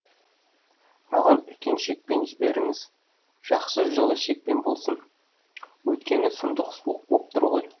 маған үлкен шекпен жіберіңіз жақсы жылы шекпен болсын өйткені сұмдық суық боп тұр ғой